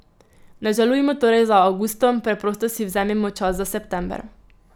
Ne žalujmo torej za avgustom, preprosto si vzemimo čas za september.